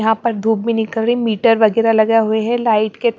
यहां पर धूप भी निकल रही मीटर वगैरह लगा हुए है लाइट के--